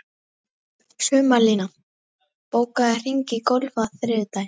Sumarlína, bókaðu hring í golf á þriðjudaginn.